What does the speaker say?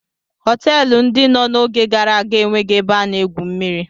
Họtelụ ndị no n'oge gara aga enweghị ebe a na-egwu mmiri.